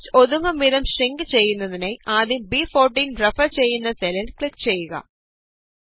text ഒതുങ്ങും വിധം shrink ചെയ്യുന്നതിനായി ആദ്യം ബ്14 റഫര് ചെയ്യുന്ന സെല്ലില് ക്ലിക് ചെയ്യുക